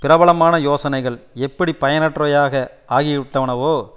பிரபலமான யோசனைகள் எப்படி பயனற்றவையாக ஆகிவிட்டனவோ